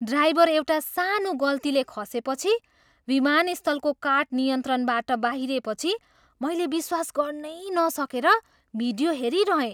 Driver एउटा सानो गल्तीले खसेपछि विमानस्थलको कार्ट नियन्त्रणबाट बाहिरिएपछि मैले विश्वास गर्नै नसकेर भिडियो हेरिरहेँ।